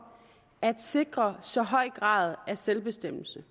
at sikre så høj grad af selvbestemmelse